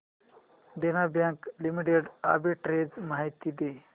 देना bank limited arbitrage माहिती दे